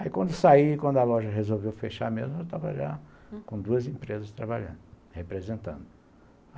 Aí quando saí, quando a loja resolveu fechar mesmo, eu estava já com duas empresas trabalhando, representando.